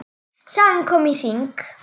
Sagan komin í hring.